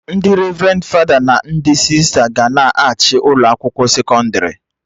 Ndị revrendi fada na ndị sista ga-na achị ụlọ akwụkwọ sekọndrị